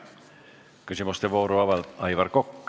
Küsimuste vooru avab Aivar Kokk.